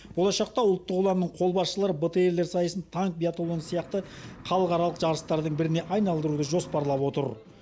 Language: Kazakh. болашақта ұлттық ұланның қолбасшылары бтр лер сайысын танк биатлоны сияқты халықаралық жарыстардың біріне айналдыруды жоспарлап отыр